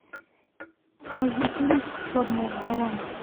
найди фильм черная вдова